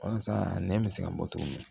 Walasa nɛn bɛ se ka bɔ cogo min na